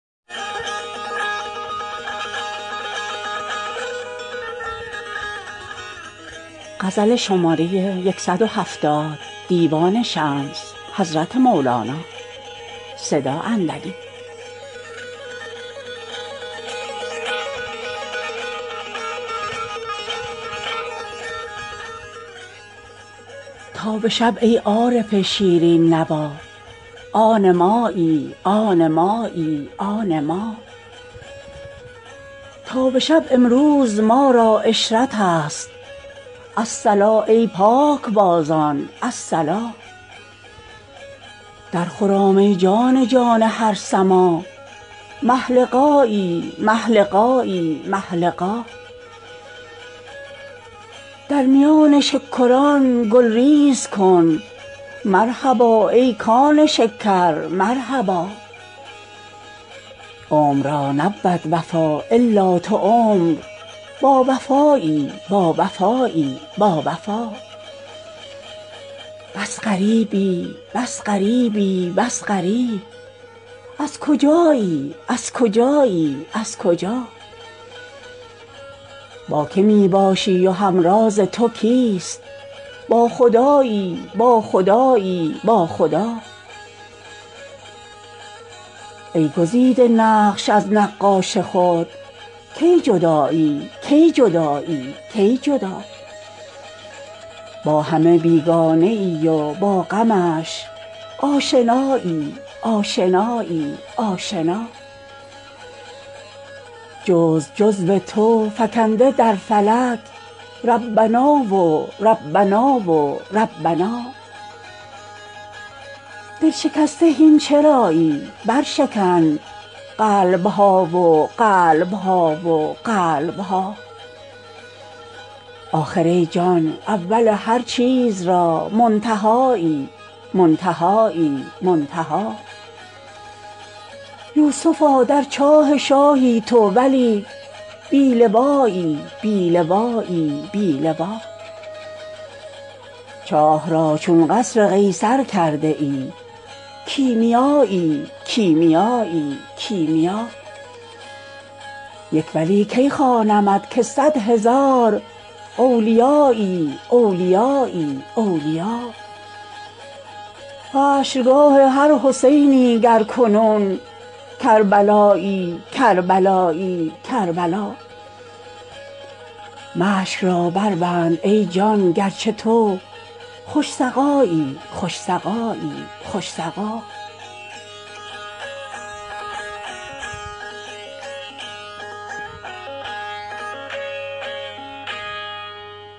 تا به شب ای عارف شیرین نوا آن مایی آن مایی آن ما تا به شب امروز ما را عشرتست الصلا ای پاکبازان الصلا درخرام ای جان جان هر سماع مه لقایی مه لقایی مه لقا در میان شکران گل ریز کن مرحبا ای کان شکر مرحبا عمر را نبود وفا الا تو عمر باوفایی باوفایی باوفا بس غریبی بس غریبی بس غریب از کجایی از کجایی از کجا با که می باشی و همراز تو کیست با خدایی با خدایی با خدا ای گزیده نقش از نقاش خود کی جدایی کی جدایی کی جدا با همه بیگانه ای و با غمش آشنایی آشنایی آشنا جزو جزو تو فکنده در فلک ربنا و ربنا و ربنا دل شکسته هین چرایی برشکن قلب ها و قلب ها و قلب ها آخر ای جان اول هر چیز را منتهایی منتهایی منتها یوسفا در چاه شاهی تو و لیک بی لوایی بی لوایی بی لوا چاه را چون قصر قیصر کرده ای کیمیایی کیمیایی کیمیا یک ولی کی خوانمت که صد هزار اولیایی اولیایی اولیا حشرگاه هر حسینی گر کنون کربلایی کربلایی کربلا مشک را بربند ای جان گرچه تو خوش سقایی خوش سقایی خوش سقا